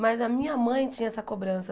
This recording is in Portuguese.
Mas a minha mãe tinha essa cobrança.